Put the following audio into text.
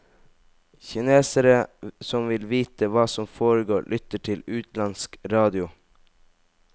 Kinesere som vil vite hva som foregår, lytter til utenlandsk radio.